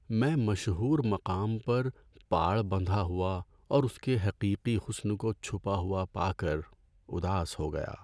میں مشہور مقام پر پاڑ بندھا ہوا اور اس کی حقیقی حسن کو چھپا ہوا پا کر اداس ہو گیا۔